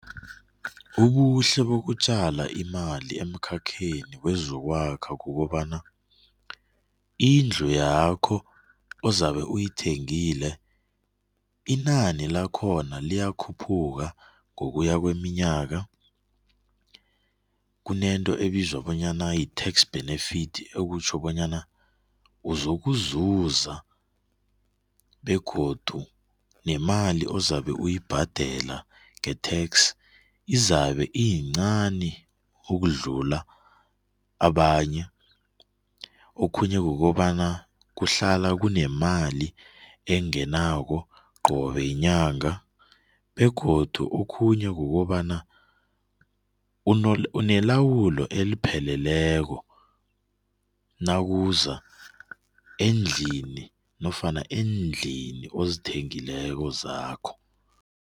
Ubuhle bokutjala imali emkhakheni wezokwakha kukobana indlu yakho ozabe uyithengile inani lakhona liyakhuphuka ngokuya kweminyaka kunento ebizwa bonyana yi-tax benefit ekutjho bonyana uzokuzuza begodu nemali ozabe uyibhadela nge-tax izabe iyincani ukudlula abanye. Okhunye kukobana kuhlala kunemali engenako qobe yinyanga begodu okhunye kukobana unelawulo elipheleleko nawuza endlini nofana eendlini ozithengileko zakho.